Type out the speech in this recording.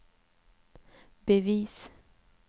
bevis